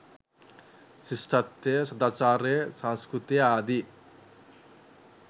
ශිෂ්ඨත්වය සදාචාරය සංස්කෘතිය ආදී